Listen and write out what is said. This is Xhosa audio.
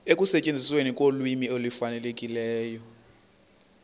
ekusetyenzisweni kolwimi olufanelekileyo